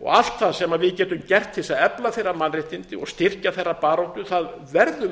og allt það sem við getum gert til þess að efla þeirra mannréttindi og styrkja þeirra baráttu verðum við